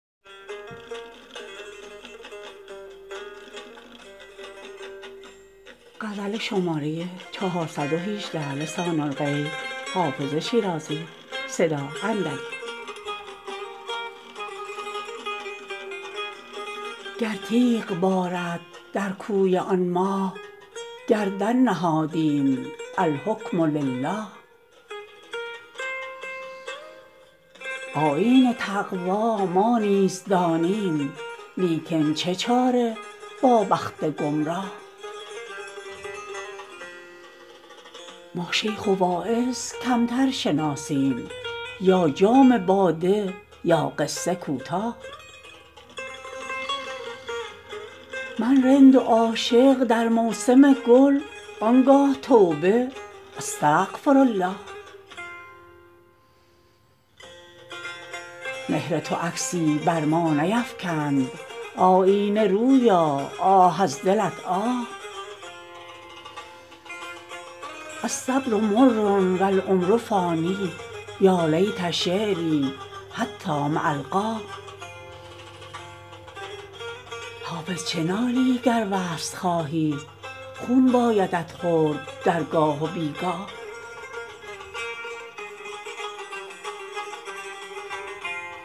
گر تیغ بارد در کوی آن ماه گردن نهادیم الحکم لله آیین تقوا ما نیز دانیم لیکن چه چاره با بخت گمراه ما شیخ و واعظ کمتر شناسیم یا جام باده یا قصه کوتاه من رند و عاشق در موسم گل آن گاه توبه استغفرالله مهر تو عکسی بر ما نیفکند آیینه رویا آه از دلت آه الصبر مر و العمر فان یا لیت شعري حتام ألقاه حافظ چه نالی گر وصل خواهی خون بایدت خورد در گاه و بی گاه